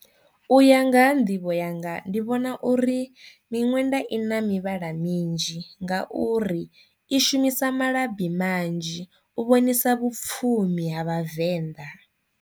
U ya nga ha nḓivho yanga ndi vhona uri miṅwenda i na mivhala minzhi nga uri i shumisa malabi manzhi u vhonisa vhapfumi ha vhavenḓa.